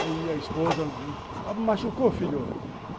Aí a esposa... machucou filho?